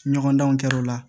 Ɲɔgɔndanw kɛra o la